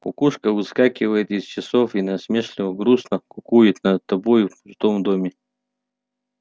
кукушка выскакивает из часов и насмешливо-грустно кукует над тобою в пустом доме